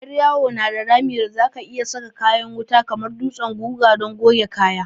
Yar yawo na da rami da za ka iyi sa kayan wuta kamar dutsen guga don goge kaya.